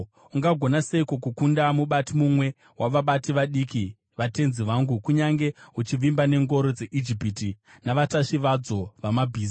Ungagona seiko kukunda mubati mumwe wavabati vadiki vatenzi vangu, kunyange uchivimba nengoro dzeIjipiti navatasvi vadzo vamabhiza?